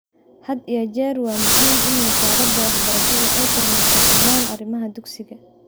Had iyo jeer waa muhiim in wasaaradda waxbarashadu ay kormeerto dhammaan arrimaha dugsiga.